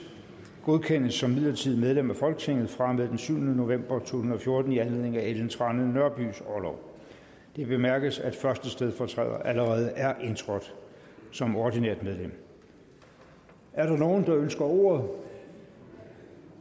godkendes som midlertidigt medlem af folketinget fra og med den syvende november to tusind og fjorten i anledning af ellen trane nørbys orlov det bemærkes at første stedfortræder allerede er indtrådt som ordinært medlem er der nogen der ønsker ordet